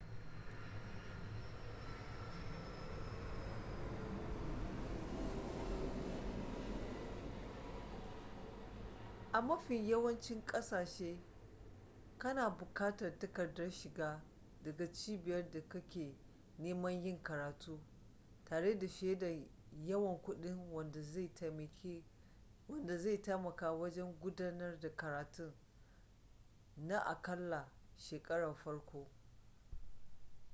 a mafin yawancin kasashe kana bukatar takardar shiga daga cibiyar da kake neman yin karatu tare da shaidar yawan kudi wanda zai taimaka wajen gudanar da karatun na akalla shekarar farko